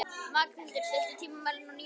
Magnhildur, stilltu tímamælinn á níu mínútur.